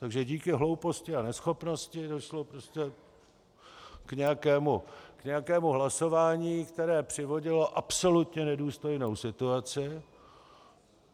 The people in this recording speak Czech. Takže díky hlouposti a neschopnosti došlo prostě k nějakému hlasování, které přivodilo absolutně nedůstojnou situaci.